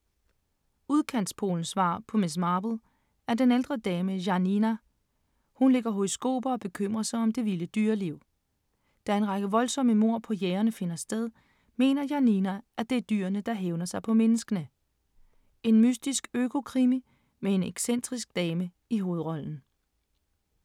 Udkants-Polens svar på Miss Marple er den ældre dame Janina. Hun lægger horoskoper og bekymrer sig om det vilde dyreliv. Da en række voldsomme mord på jægere finder sted, mener Janina, at det er dyrene, der hævner sig på menneskene. En mystisk øko-krimi med en excentrisk dame i hovedrollen.